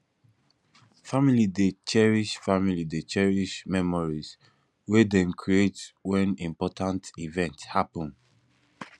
family dey cherish family dey cherish memories wey dem create wen important event happun